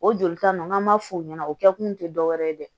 O jolita ninnu n'an m'a fɔ o ɲɛna o kɛkun tɛ dɔwɛrɛ ye dɛ